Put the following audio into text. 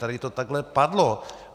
Tady to takhle padlo.